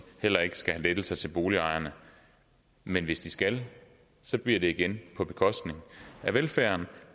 heller ikke skal have lettelser til boligejerne men hvis de skal bliver det igen på bekostning af velfærden